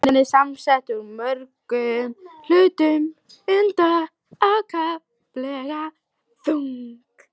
Styttan er samsett úr mörgum hlutum, enda ákaflega þung.